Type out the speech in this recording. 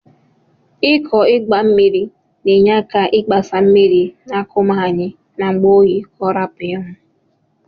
Iko igba mmiri na enye aka igbasa mmiri na akụmaụ anyi n'ngbe oyi ka ọrapụ inwụ.